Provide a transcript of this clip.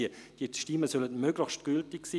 Diese sollen möglichst gültig sein.